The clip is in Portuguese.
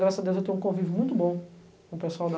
Graças a Deus, eu tenho um convívio muito bom com o pessoal da